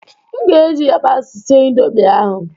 M ga-eji yabasị sịe Indomị ahụ